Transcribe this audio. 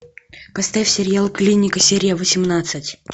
поставь сериал клиника серия восемнадцать